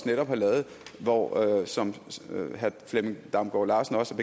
netop har lavet hvor som herre flemming damgaard larsen også